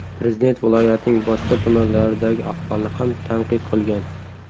Prezident viloyatning boshqa tumanlaridagi ahvolni ham tanqid qilgan.